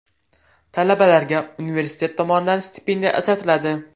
Talabalarga universitet tomonidan stipendiya ajratiladi.